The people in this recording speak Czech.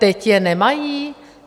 Teď je nemají?